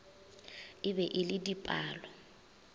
e be e le dipalo